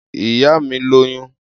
Iya mi loyun.